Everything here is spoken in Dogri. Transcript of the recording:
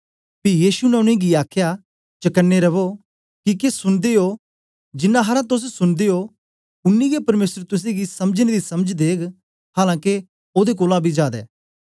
पी यीशु ने उनेंगी आखया चकने रवो किके सुन्दे ओ जिनांग तोस सुनदे ओ उनी गै परमेसर तुसेंगी समझने दी समझ देग हालां के ओदे कोलां बी जादै